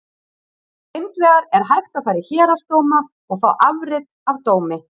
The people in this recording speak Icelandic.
Hins vegar er hægt að fara í héraðsdóma og fá afrit af dómi.